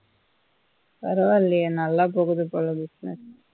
பரவால்லயே நல்லா போகுது போல busines